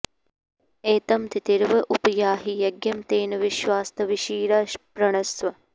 ए॒तं ति॑तिर्व॒ उप॑ याहि य॒ज्ञं तेन॒ विश्वा॒स्तवि॑षी॒रा पृ॑णस्व